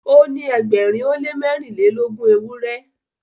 O ni ẹgbẹrin o le mẹrinlelogun ewurẹ